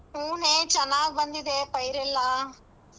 ಹೂ ನೇ ಚೆನ್ನಾಗ್ಬಂದಿದೆ ಪೈರೆಲ್ಲಾ.